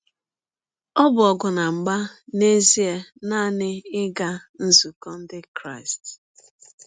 Ọ bụ ọgụ na mgba n’ezie nanị ịga nzụkọ ndị Kristị.